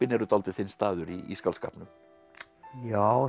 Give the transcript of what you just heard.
eru dálítið þinn staður í skáldskapnum já